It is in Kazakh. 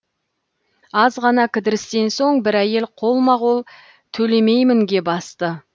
аз ғана кідірістен соң бір әйел қолма қол төлемеймінге басты